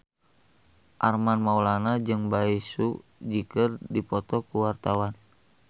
Armand Maulana jeung Bae Su Ji keur dipoto ku wartawan